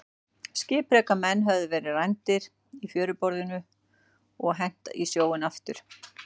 Skipreika menn höfðu verið rændir í fjöruborðinu og hent í sjóinn aftur.